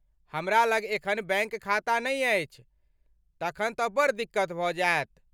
हमरा लग एखन बैङ्क खाता नै अछि, तखन तँ बड़ दिक्क्त भऽ जायत।